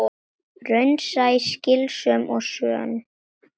Raunsæ, skynsöm og sönn.